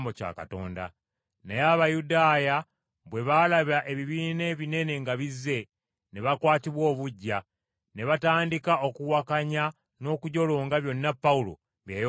Naye Abayudaaya bwe baalaba ebibiina ebinene nga bizze, ne bakwatibwa obuggya, ne batandika okuwakanya n’okujolonga byonna Pawulo bye yayogeranga.